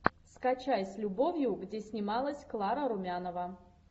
скачай с любовью где снималась клара румянова